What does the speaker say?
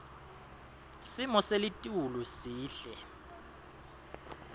simo selitulu sihle